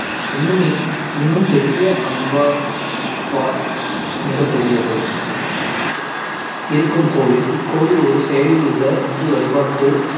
இன்னும் இன்~ இன்னும் பெரிய அங்கோர் வாட் மிகப்பெரியது இருக்கும் கோவில். இக்கோயில் ஒரு செயலில் உள்ள இந்து வழிபாட்டு